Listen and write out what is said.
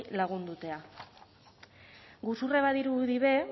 lagundutea guzurra badirudi be